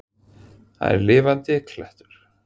Hann er lifandi klettur.